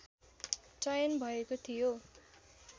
चयन भएको थियो